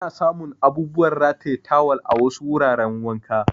Ana samun abubuwan rataye tawal a wasu wuraran wanka.